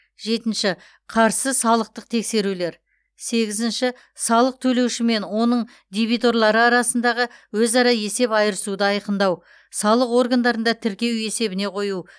жетінші қарсы салықтық тексерулер сегізінші салық төлеуші мен оның дебиторлары арасындағы өзара есеп айырысуды айқындау салық органдарында тіркеу есебіне қою